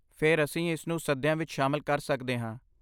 ਫਿਰ ਅਸੀਂ ਇਸਨੂੰ ਸੱਦਿਆਂ ਵਿੱਚ ਸ਼ਾਮਲ ਕਰ ਸਕਦੇ ਹਾਂ।